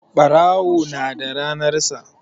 Ɓarawo na da ranan sa